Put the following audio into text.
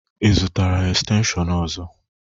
Ị zụtara estenshịon ọzọ?